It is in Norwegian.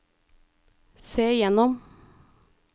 se gjennom